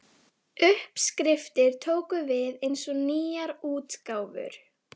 Uppskriftir tóku við eins og nýjar útgáfur.